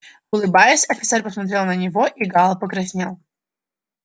улыбаясь офицер посмотрел на него и гаал покраснел